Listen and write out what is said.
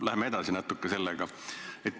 Läheme natuke sellega edasi.